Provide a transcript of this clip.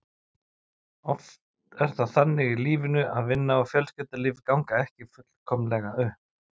Oft er það þannig í lífinu að vinna og fjölskyldulíf ganga ekki fullkomlega upp.